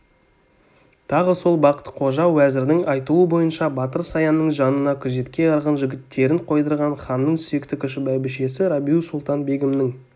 тағы сол бақты-қожа уәзірдің айтуы бойынша батыр саянның жанына күзетке арғын жігіттерін қойдырған ханның сүйікті кіші бәйбішесі рабиу-сұлтан-бегімнің